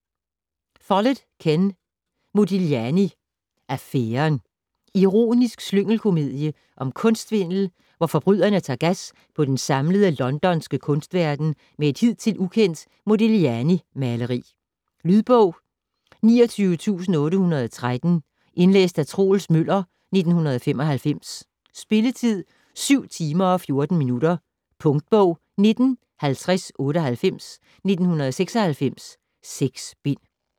Follett, Ken: Modigliani affæren Ironisk slyngelkomedie om kunstsvindel, hvor forbryderne tager gas på den samlede londonske kunstverden med et hidtil ukendt Modiglianimaleri. Lydbog 29813 Indlæst af Troels Møller, 1995. Spilletid: 7 timer, 14 minutter. Punktbog 195098 1996. 6 bind.